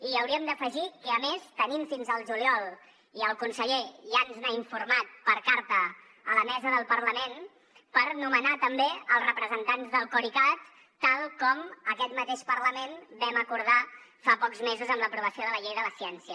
i hi hauríem d’afegir que a més tenim fins al juliol i el conseller ja ens n’ha informat per carta a la mesa del parlament per nomenar també els representants del coricat tal com aquest mateix parlament vam acordar fa pocs mesos amb l’aprovació de la llei de la ciència